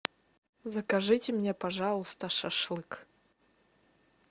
закажите мне пожалуйста шашлык